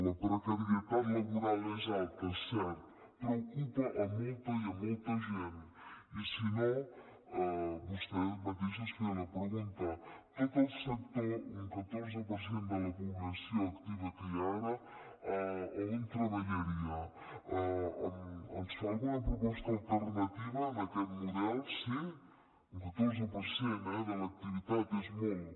la precarietat laboral és alta és cert però ocupa a molta i a molta gent i si no vostè mateix es feia la pregunta tot el sector un catorze per cent de la població activa que hi ha ara on treballaria ens fa alguna proposta alternativa a aquest model sí un catorze per cent de l’activitat és molt